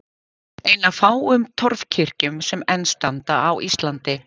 Ein af fáum torfkirkjum sem enn standa á Íslandi.